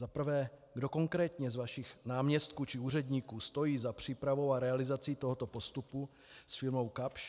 Za prvé, kdo konkrétně z vašich náměstků či úředníků stojí za přípravou a realizací tohoto postupu s firmou Kapsch.